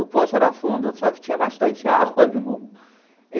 O poço era fundo, só que tinha bastante água, viu?